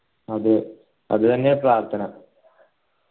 അതെ അത് തന്നെയാ പ്രാർത്ഥന